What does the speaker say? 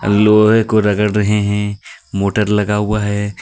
और लोहे को रगड़ रहे हे मोटर लगा हुआ हे.